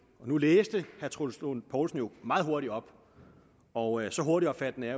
nu læste herre troels lund poulsen meget hurtigt op og så hurtigopfattende er